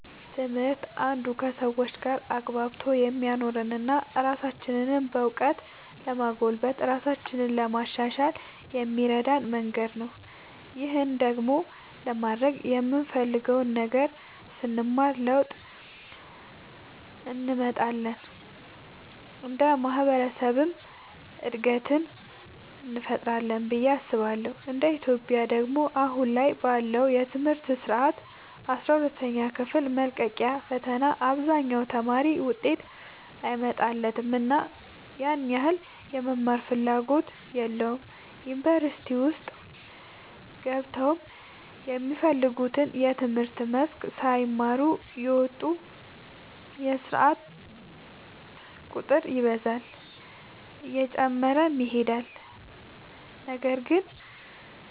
ትምህርት አንዱ ከሰዎች ጋር አግባብቶ የሚያኖረን እና ራሳችንንም በእውቀት ለማጎልበት ራሳችንን ለማሻሻል የሚረዳን መንገድ ነው። ይህን ደግሞ ለማድረግ የምንፈልገውን ነገር ስንማር ለውጥ እንመጣለን እንደ ማህበረሰብም እድገትን እንፈጥራለን ብዬ አስባለሁ እንደ ኢትዮጵያ ደግሞ አሁን ላይ ባለው የትምህርት ስርዓት አስራ ሁለተኛ ክፍል መልቀቂያ ፈተና አብዛኛው ተማሪ ውጤት አይመጣለትምና ያን ያህል የመማርም ፍላጎት የለውም ዩኒቨርሲቲ ውስጥ ገብተውም የሚፈልጉትን የትምህርት መስክ ሳይማሩ እየወጡ የስርዓት ቁጥር ይበዛል እየጨመረም ይሄዳል ነገር ግን